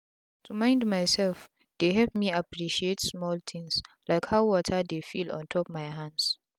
to mind myself dey help me appreciate smal tins like how water dey feel ontop my hands